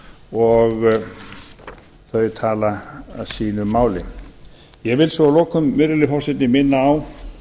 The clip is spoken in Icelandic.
og þau tala sínu máli ég vil svo að lokum virðulegi forseti minna á